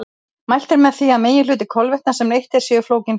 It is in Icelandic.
Mælt er með því að meginhluti kolvetna sem neytt er séu flókin kolvetni.